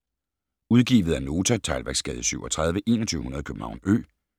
Udgivet af Nota Teglværksgade 37 2100 København Ø